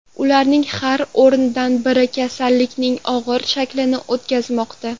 Ularning har o‘ndan biri kasallikning og‘ir shaklini o‘tkazmoqda.